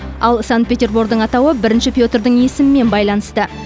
ал санкт петербордың атауы бірінші петрдің есімімен байланысты